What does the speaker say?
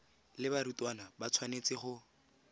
le barutwana ba tshwanetse go